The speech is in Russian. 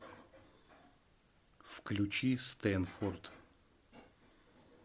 включи стэнфорд